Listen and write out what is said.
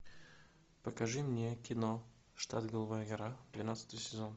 покажи мне кино штат голубая гора двенадцатый сезон